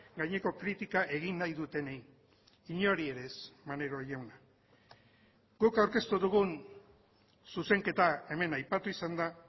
gaineko kritika egin nahi dutenei inori ere ez maneiro jauna guk aurkeztu dugun zuzenketa hemen aipatu izan da